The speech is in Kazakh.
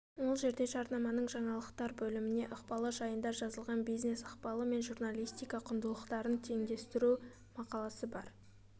ол жерде жарнаманың жаңалықтар бөліміне ықпалы жайында жазылған бизнес ықпалы мен журналистика құндылықтарын теңдестіру мақаласы бар